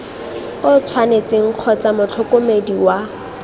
o tshwanetseng kgotsa motlhokomedi wa